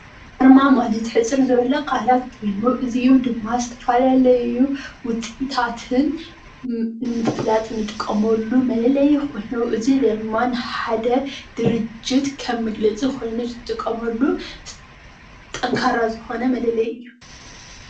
ኣርማ ማለት ሕፅር ዝበሉ ቃላት ኮይኑ እዚኦም ድማ ዝተፈላለዩ ውፅኢታትን ንምፍላጥ እንጥቀመሉ መለለይ ኮይኑ፣ እዚ ድማ ንሓደ ድርጅት ከም መግለፂ ኮይኑ ዝጥቀመሉ ጠንካራ ዝኮነ መለለይ እዩ።